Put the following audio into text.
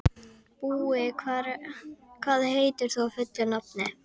Búi, hvað heitir þú fullu nafni?